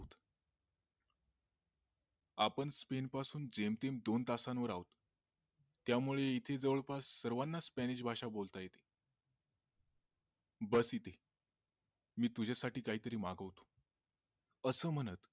आपण स्पेन पासून जमतेम दोन तासांवर आहोत त्या मुळे इथे जवळपास सर्वांना स्पॅनिश भाषा बोलता येते बस इथे मी तुझ्या साठी काही तरी मागवतो अस म्हणत,